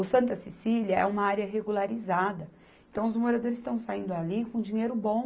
O Santa Cecília é uma área regularizada, então os moradores estão saindo ali com um dinheiro bom,